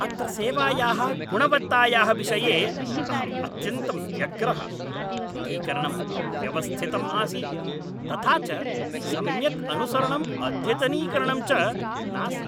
अत्र सेवायाः गुणवत्तायाः विषये अहं अत्यन्तं व्यग्रः। पुटीकरणम् अव्यवस्थितम् आसीत्, तथा च सम्यक् अनुसरणं अद्यतनीकरणं च नासीत्!